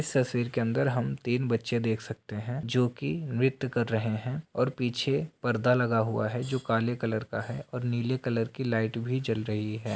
इस तस्वीर के अंदर हम तीन बच्चे देख सकते हैं जो की नृत्य कर रहे हैं और पीछे पर्दा लगा हुआ है जो काले कलर का है और नीले कलर की लाइट भी जल रही है।